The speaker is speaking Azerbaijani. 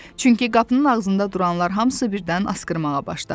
Çünki qapının ağzında duranlar hamısı birdən asqırmağa başladı.